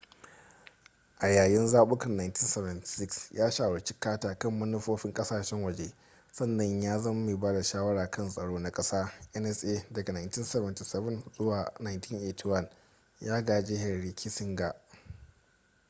a yayin zabukan 1976 ya shawarci carter kan manufofin kasashen waje sannan ya zama mai ba da shawara kan tsaro na kasa nsa daga 1977 zuwa 1981 ya gaji henry kissinger